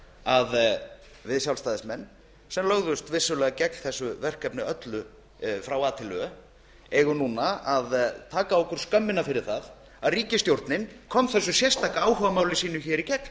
að við sjálfstæðismenn sem vissulega lögðumst gegn þessu verkefni öllu frá a til ö eigum nú að taka á okkur skömmina fyrir það að ríkisstjórnin kom þessu sérstaka áhugamáli sínu hér í gegn